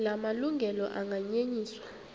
la malungelo anganyenyiswa